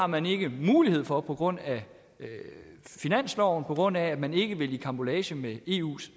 man ikke har mulighed for på grund af finansloven på grund af at man ikke vil i karambolage med eus